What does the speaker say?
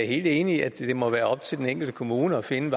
enig i at det må være op til den enkelte kommune at finde